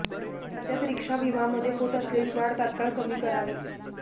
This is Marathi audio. राज्यात रिक्षा विमामध्ये होत असलेली वाढ तात्काळ कमी करावी